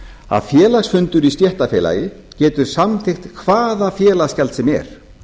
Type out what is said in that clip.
að félagsfundur í stéttarfélagi getur samþykkt hvaða félagsgjald sem er